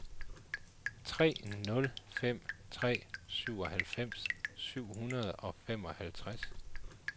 tre nul fem tre syvoghalvfems syv hundrede og femoghalvtreds